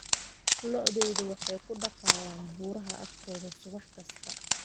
lo'dayda waxay ku daaqayaan buuraha agtooda subax kasta